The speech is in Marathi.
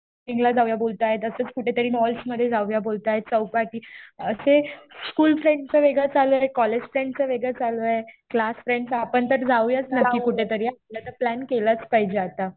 ट्रेकिंगला जाऊया बोलतायेत. असंच कुठेतरी मॉल्स मध्ये जाऊया बोलतायेत. चौपाटी. असे स्कुल फ्रेंडच वेगळं चालू आहे. कॉलेज फ्रेंडच वेगळं चालू आहे. क्लास फ्रेंडच आपण तर जाऊया नक्की कुठेतरी हा. आपला तर प्लॅन केलाच पाहिजे आता.